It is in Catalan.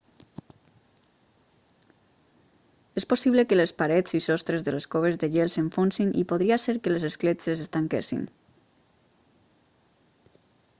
és possible que les parets i sostres de les coves de gel s'enfonsin i podria ser que les escletxes es tanquessin